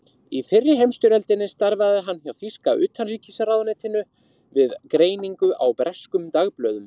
Í fyrri heimsstyrjöldinni starfaði hann hjá þýska utanríkisráðuneytinu við greiningu á breskum dagblöðum.